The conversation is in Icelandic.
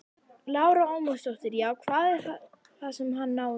Lára Ómarsdóttir: Já, hvað var það sem að hann náði?